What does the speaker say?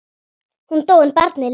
Hún dó en barnið lifði.